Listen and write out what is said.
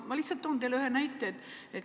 Ma lihtsalt toon teile ühe näite.